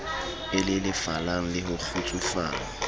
e lelefalang le ho kgutsufala